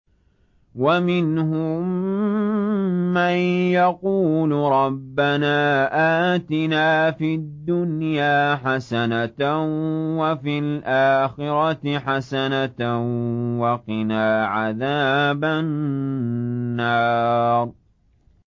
وَمِنْهُم مَّن يَقُولُ رَبَّنَا آتِنَا فِي الدُّنْيَا حَسَنَةً وَفِي الْآخِرَةِ حَسَنَةً وَقِنَا عَذَابَ النَّارِ